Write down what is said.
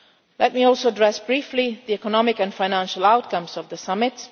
this. Let me also address briefly the economic and financial outcomes of the summit.